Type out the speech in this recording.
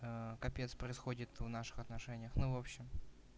капец происходит в наших отношениях ну в общем